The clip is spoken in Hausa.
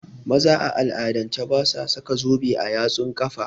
Maza a al'adance basu sa zobe a yatsan kafa